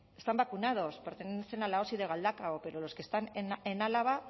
están vacunados pertenecen a la osi de galdakao pero los que están en álava